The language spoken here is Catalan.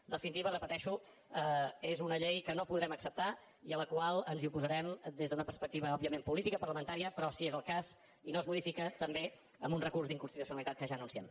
en definitiva ho repeteixo és una llei que no podrem acceptar i a la qual ens oposarem des d’una perspectiva òbviament política parlamentària però si és el cas i no es modifica també amb un recurs d’inconstitucionalitat que ja anunciem